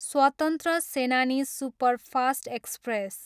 स्वतन्त्र Senani superfast express